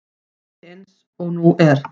Ekki eins og nú er.